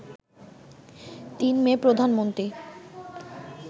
৩ May, Pradhan Mantri